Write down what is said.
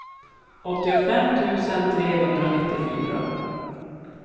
åttiofem tusen trehundranittiofyra